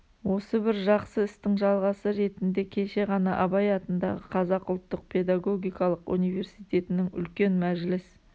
осы бір жақсы істің жалғасы ретінде кеше ғана абай атындағы қазақ ұлттық педагогикалық университетінің үлкен мәжіліс